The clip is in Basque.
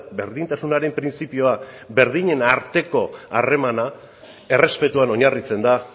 berdintasunaren printzipioa berdinen arteko harremana errespetuan oinarritzen da